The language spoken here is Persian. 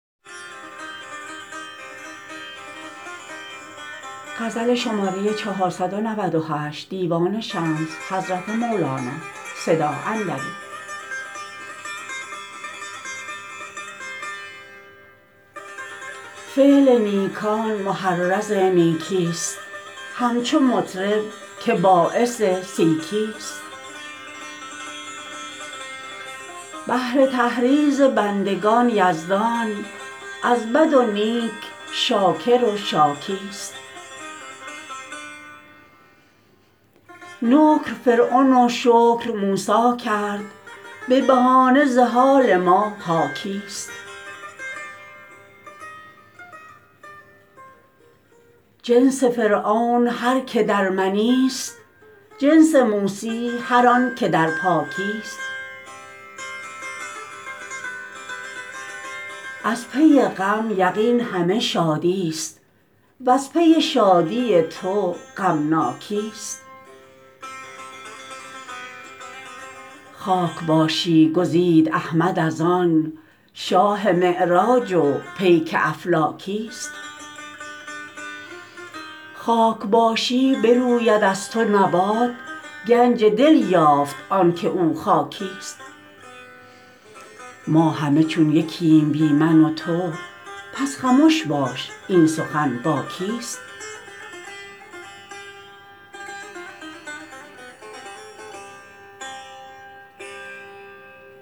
فعل نیکان محرض نیکیست همچو مطرب که باعث سیکیست بهر تحریض بندگان یزدان از بد و نیک شاکر و شاکیست نکر فرعون و شکر موسی کرد به بهانه ز حال ما حاکیست جنس فرعون هر کی در منیست جنس موسی هر آنک در پاکیست از پی غم یقین همه شادیست و از پی شادی تو غمناکیست خاک باشی گزید احمد از آن شاه معراج و پیک افلاکیست خاک باشی بروید از تو نبات گنج دل یافت آنک او خاکیست ما همه چون یکیم بی من و تو پس خمش باش این سخن با کیست